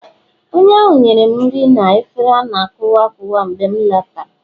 onye ahụ nyere m nri na efere a na-akuwa akuwa mgbe m letara